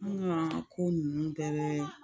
Nka ko ninnu tɛ kɛ